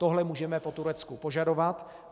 Tohle můžeme po Turecku požadovat.